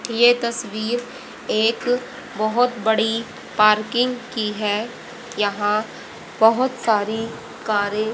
ये तस्वीर एक बहुत बड़ी पार्किंग की है यहां बहुत सारी कारें --